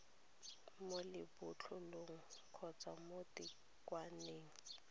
mo lebotlolong kgotsa mo thekgwaneng